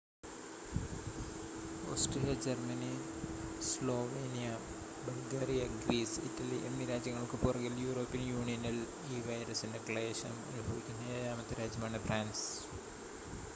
Austria Germany Slovenia Bulgaria Greece Italy എന്നീ രാജ്യങ്ങൾക്കു പുറകിൽ, യൂറോപ്യൻ യൂണിയനിൽ ഈ വൈറസിന്റെ ക്ലേശം അനുഭവിക്കുന്ന ഏഴാമത്തെ രാജ്യമാണ് ഫ്രാൻസ്